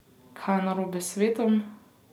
Kaj je narobe s svetom?